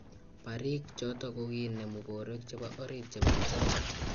Bariiik chotok kokoinemu borwek chebo orit chebo bichotok